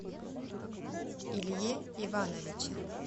илье ивановиче